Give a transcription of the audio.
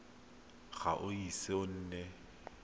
ga o ise o nne